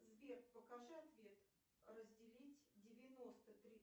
сбер покажи ответ разделить девяносто три